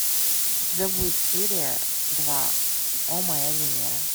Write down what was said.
у тебя будет серия два о моя венера